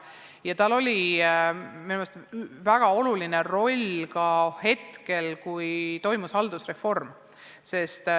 Keskusel oli minu meelest väga oluline roll ka siis, kui toimus haldusreform.